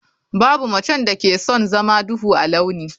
Babu macen da ke son zama duhu a launi.